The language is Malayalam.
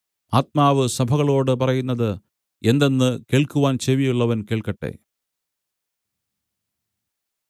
ആത്മാവ് സഭകളോടു പറയുന്നത് എന്തെന്ന് കേൾക്കുവാൻ ചെവിയുള്ളവൻ കേൾക്കട്ടെ